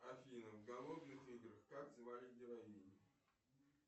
афина в голодных играх как звали героиню